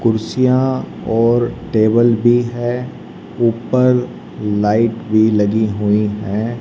कुर्सियां और टेबल भी है ऊपर लाइट भी लगी हुई हैं।